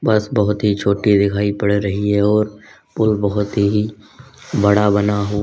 बस बहुत ही छोटी दिखाई पड़ रही है और पूल बहोत ही बड़ा बना हुआ--